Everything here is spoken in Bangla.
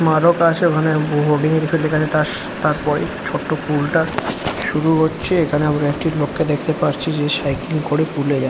মারক আসে ওখানে হোডিং কিছু লেখা আছে তার তার তারপরেই ছোট্ট পুল টা শুরু হচ্ছে এখানে আমরা একটি লোককে দেখতে পারছি যে সাইকেল করে পুল এ যা--